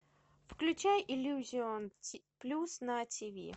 включай иллюзион плюс на ти ви